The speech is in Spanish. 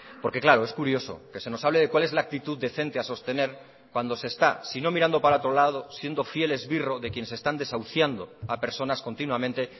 porque claro es curioso que se nos hable de cuál es la actitud decente a sostener cuando se está si no mirando para otro lado siendo fiel esbirro de quienes están desahuciando a personas continuamente